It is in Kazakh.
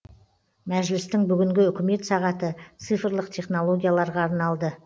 мәжілістің бүгінгі үкімет сағаты цифрлық технологияларға арналды